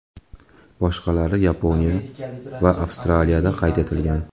Boshqalari Yaponiya va Avstraliyada qayd etilgan.